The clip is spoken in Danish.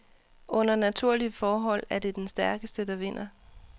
Under naturlige forhold er det den stærkeste, der vinder.